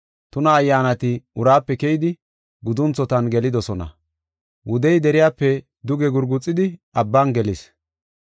Tuna ayyaanati uraape keyidi gudunthotan gelidosona. Wudey deriyape duge gurguxidi abban gelis.